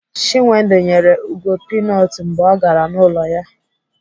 Chinwendu nyere Ugo pinut mgbe ọ gara n'ụlọ ya